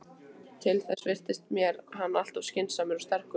Til þess virtist mér hann alltof skynsamur og sterkur.